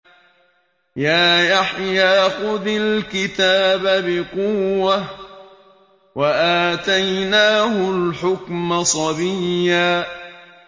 يَا يَحْيَىٰ خُذِ الْكِتَابَ بِقُوَّةٍ ۖ وَآتَيْنَاهُ الْحُكْمَ صَبِيًّا